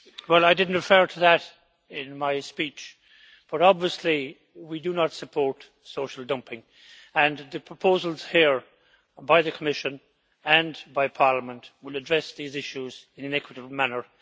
Well, I didn't refer to that in my speech, but obviously we do not support social dumping. The proposals here, by the Commission and by Parliament, will address these issues in an equitable manner.